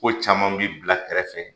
Ko caman bi bila kɛrɛfɛ